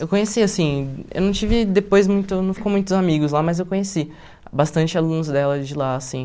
Eu conheci, assim, eu não tive depois muito, não ficou muitos amigos lá, mas eu conheci bastante alunos dela de lá, assim.